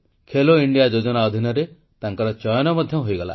Khelo India ଯୋଜନାରେ ତାଙ୍କର ଚୟନ ମଧ୍ୟ ହୋଇଗଲା